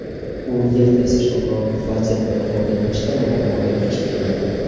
U yerda esa Shomurodov vaziyatlardan foydalanishda muammoga duch keldi.